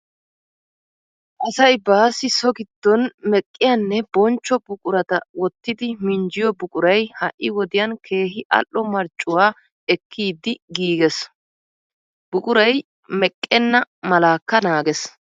Asay baassi so giddon meqqiyanne bonchcho buqurata wottidi minjjiyo buquray ha"i wodiyan keehi al"o marccuwa ekkidi giigees. Buquray meqqenna malakka naagees.